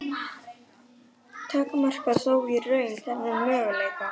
takmarka þó í raun þennan möguleika.